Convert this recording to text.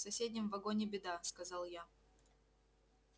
в соседнем вагоне беда сказал я